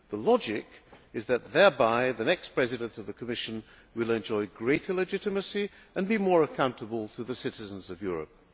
The logic is that thereby the next President of the Commission will enjoy greater legitimacy and be more accountable to the citizens of Europe.